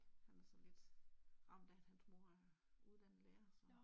Han er sådan lidt ramt af at hans mor er uddannet lærer så